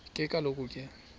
ke kaloku ke